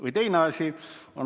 Või teine asi.